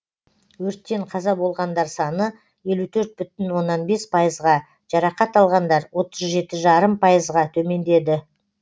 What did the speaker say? өрттен қаза болғандар саны елу төрт бүтін оннан бес пайызға жарақат алғандар отыз жеті жарым пайызға төмендеді